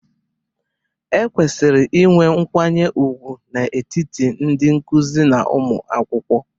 E kwesịrị inwe nkwanye ùgwù n'etiti ndị nkuzi na ụmụ akwụkwọ.